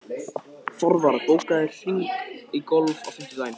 Þorvar, bókaðu hring í golf á fimmtudaginn.